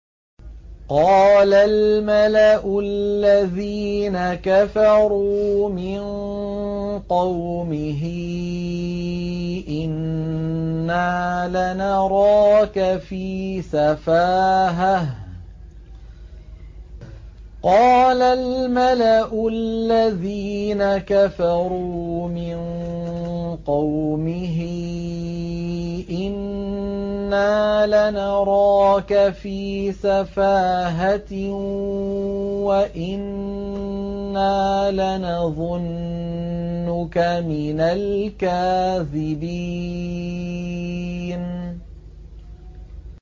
قَالَ الْمَلَأُ الَّذِينَ كَفَرُوا مِن قَوْمِهِ إِنَّا لَنَرَاكَ فِي سَفَاهَةٍ وَإِنَّا لَنَظُنُّكَ مِنَ الْكَاذِبِينَ